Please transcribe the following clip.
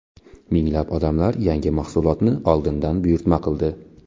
Minglab odamlar yangi mahsulotni oldindan buyurtma qildi.